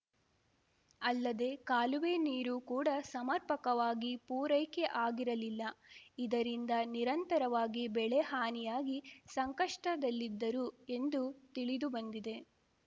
ಅಲ್ಲದೇ ಕಾಲುವೆ ನೀರು ಕೂಡ ಸಮರ್ಪಕವಾಗಿ ಪೂರೈಕೆ ಆಗಿರಲಿಲ್ಲ ಇದರಿಂದ ನಿರಂತರವಾಗಿ ಬೆಳೆ ಹಾನಿಯಾಗಿ ಸಂಕಷ್ಟದಲ್ಲಿದ್ದರು ಎಂದು ತಿಳಿದುಬಂದಿದೆ